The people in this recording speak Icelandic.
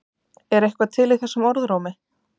Er eitthvað til í þessum orðrómi?